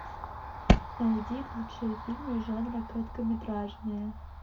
найди лучшие фильмы жанра короткометражные